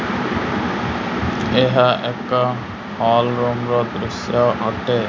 ଏହା ଏକ ହଲ୍ ରଙ୍ଗ ଦୃଶ୍ୟ ଅଟେ।